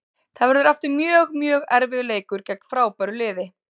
Það verður aftur mjög, mjög erfiður leikur gegn frábæru liði.